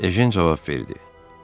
Ejen cavab verdi: